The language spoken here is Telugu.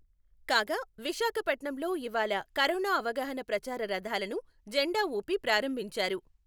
కాగా, విశాఖపట్నంలో ఇవాళ కరోనా అవగాహన ప్రచార రథాలను జెండా ఊపి ప్రారంభించారు.